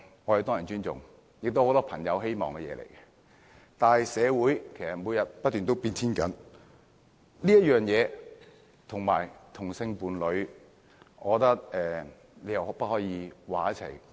我們當然尊重，也是很多朋友希望的，但社會其實每天都在不斷改變，我覺得此事跟同性伴侶的身份不可以混為一談。